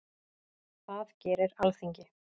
Það gerir Alþingi.